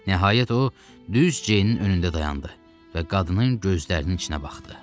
Nəhayət o düz Ceynin önündə dayandı və qadının gözlərinin içinə baxdı.